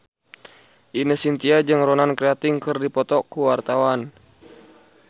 Ine Shintya jeung Ronan Keating keur dipoto ku wartawan